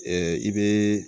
i bɛ